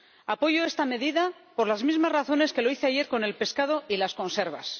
Apoyo esta medida por las mismas razones que lo hice ayer con el pescado y las conservas.